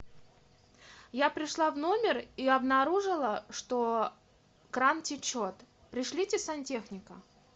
я пришла в номер и обнаружила что кран течет пришлите сантехника